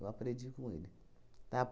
Eu aprendi com ele, tá?